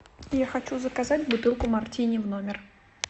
я хочу заказать бутылку мартини в номер